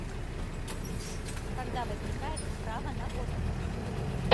когда возникает право на отпуск